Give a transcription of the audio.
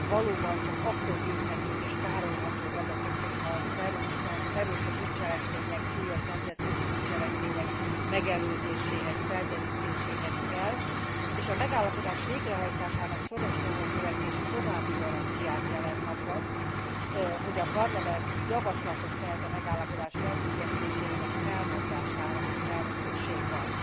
Valóban csak akkor gyűjthetők és tárolható adatok, hogyha az terrorista bűncselekmények, súlyos nemzetközi bűncselekmények megelőzéséhez, felderítéséhez kell, és a megállapodás végrehajtásának szoros nyomon követése további garanciát jelent arra, hogy a Parlament javaslatot tehet a megállapodás felfüggesztésére, vagy felmondására, hogyha erre szükség van.